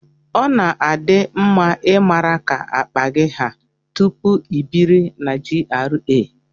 Ọ di mma ị mara ka akpa gị haa tupu ị biri na GRA.